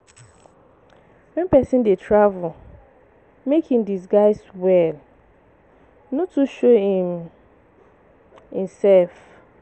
When person dey travel, make im disguise well, no too show um im self.